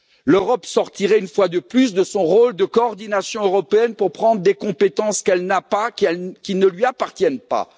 L'Europe sortirait une fois de plus de son rôle de coordination européenne pour prendre des compétences qu'elle n'a pas, qui ne lui appartiennent pas.